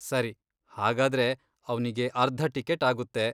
ಸರಿ, ಹಾಗಾದ್ರೆ ಅವ್ನಿಗೆ ಅರ್ಧ ಟಿಕೆಟ್ ಆಗುತ್ತೆ.